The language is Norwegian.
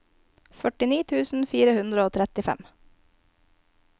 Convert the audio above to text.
førtini tusen fire hundre og trettifem